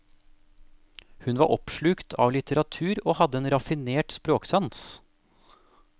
Hun var oppslukt av litteratur og hadde en raffinert språksans.